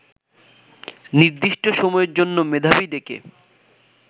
নির্দিষ্ট সময়ের জন্য মেধাবী ডেকে